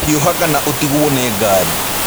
Hiũha kana ũtigwo nĩ ngaari.